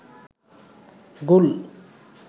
গুল